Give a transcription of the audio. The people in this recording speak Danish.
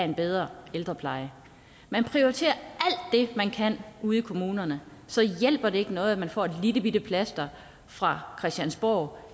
en bedre ældrepleje man prioriterer alt det man kan ude i kommunerne så hjælper det ikke noget at man får et lillebitte plaster fra christiansborg